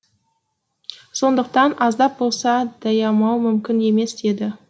сондықтан аздап болса да аямау мүмкін емес еді